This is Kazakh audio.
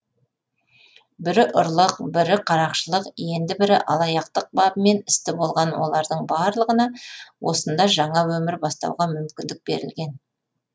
бірі ұрлық бірі қарақшылық енді бірі алаяқтық бабымен істі болған олардың барлығына осында жаңа өмір бастауға мүмкіндік берілген